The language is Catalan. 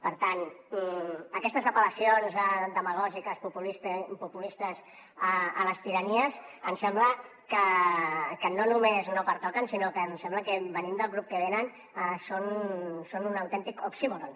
per tant aquestes apel·lacions demagògiques i populistes a les tiranies em sembla que no només no pertoquen sinó que em sembla que venint del grup que venen són un autèntic oxímoron